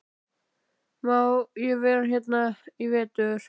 Má ég vera hérna í vetur?